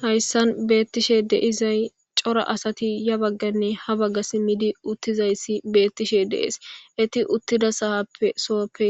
Hayssan beettishe deizay cora asati ya bagganne ha bagga simmidi uttizayssi beettishe dees eti uttida sahappe sooppe